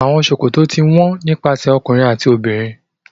Trousers are worn by men and women